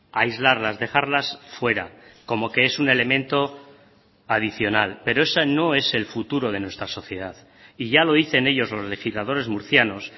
aislarlas dejarlas fuera como que es un elemento adicional pero eso no es el futuro de nuestra sociedad y ya lo dicen ellos los legisladores murcianos